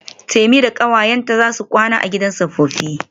Temi da kawayenta zasu kwana a gidan tsofaffi.